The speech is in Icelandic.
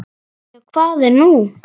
Já, hvað er nú?